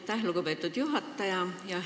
Aitäh, lugupeetud juhataja!